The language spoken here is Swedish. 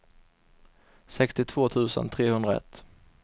sextiotvå tusen trehundraett